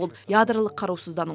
ол ядролық қарусыздану